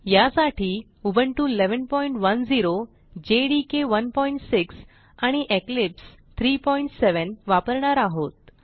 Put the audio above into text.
यासाठी Ubuntu 1110 JDK 16 आणि Eclipse 37 वापरणार आहोत